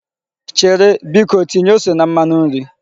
Chere! Biko tinye ose na mmanu nri.